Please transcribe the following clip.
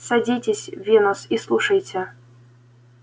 садитесь венус и слушайте